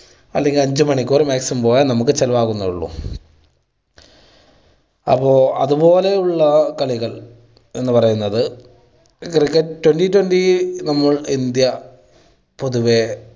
അല്ലെങ്കിൽ അഞ്ച് മണിക്കൂറ് maximum പോയാൽ നമുക്ക് ചിലവാകുന്നുള്ളൂ. അപ്പോൾ അത് പോലെയുള്ള കളികൾ എന്ന് പറയുന്നത് cricket twenty twenty നമ്മൾ ഇന്ത്യ പൊതുവേ